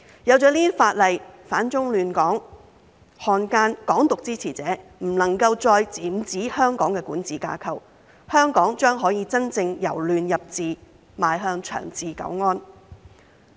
有了這些法例，反中亂港分子、漢奸和"港獨"支持者便不能夠再染指香港的管治架構，香港將可以真正由亂入治，邁向長治久安。